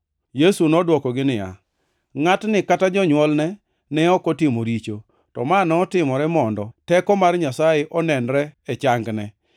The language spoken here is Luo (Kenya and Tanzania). Yesu nodwokogi niya, “Ngʼatni kata jonywolne ne ok otimo richo, to ma notimore mondo teko mar Nyasaye onenre e changne.